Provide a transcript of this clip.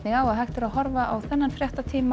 á að hægt er að horfa á þennan fréttatíma